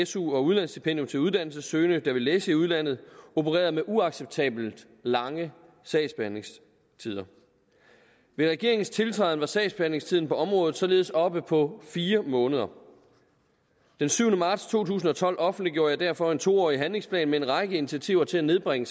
su og udlandsstipendium til uddannelsessøgende der vil læse i udlandet opererer med uacceptabelt lange sagsbehandlingstider ved regeringens tiltræden var sagsbehandlingstiden på området således oppe på fire måneder den syvende marts to tusind og tolv offentliggjorde jeg derfor en to årig handlingsplan med en række initiativer til at nedbringe